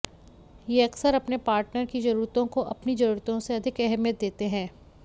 ये अक्सर अपने पार्टनर की जरूरतों को अपनी जरूरतों से अधिक अहमियत देते हैं